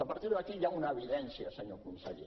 a partir d’aquí hi ha una evidència senyor conseller